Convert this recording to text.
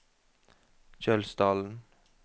Kjølsdalen